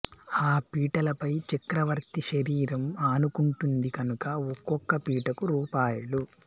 ఆ పీటలపై చక్రవర్తి శరీరం ఆనుకుంటుంది కనుక ఒక్కొక్క పీటకూ రూ